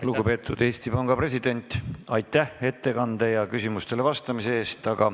Lugupeetud Eesti Panga president, aitäh ettekande ja küsimustele vastamise eest!